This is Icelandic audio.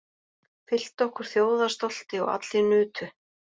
Fylltu okkur þjóðarstolti og allir nutu.